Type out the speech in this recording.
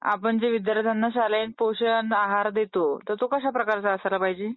आपण जो विद्यार्थ्यांना शाळेत पोषक आहार देतो तो कशा प्रकारचा पाहिजे?